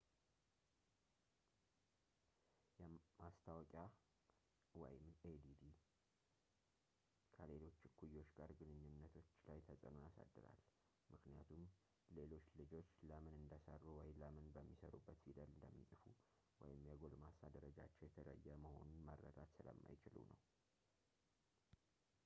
ማስታወቂያadd ከሌሎች እኩዮች ጋር ግንኙነቶች ላይ ተጽዕኖ ያሳድራል ምክንያቱም ሌሎች ልጆች ለምን እንደሰሩ ወይም ለምን በሚሰሩበት ፊደል እንደሚጽፉ ወይም የጎልማሳ ደረጃቸው የተለየ መሆኑን መረዳት ስለማይችሉ ነው